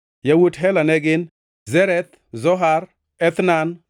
Yawuot Hela ne gin: Zereth, Zohar, Ethnan